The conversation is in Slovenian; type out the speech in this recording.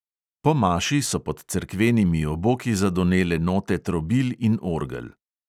Po maši so pod cerkvenimi oboki zadonele note trobil in orgel.